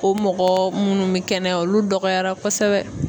O mɔgɔ munnu be kɛnɛya olu dɔgɔyara kosɛbɛ.